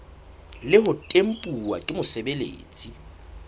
le ho tempuwa ke mosebeletsi